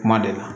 Kuma de la